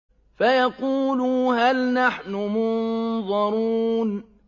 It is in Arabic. فَيَقُولُوا هَلْ نَحْنُ مُنظَرُونَ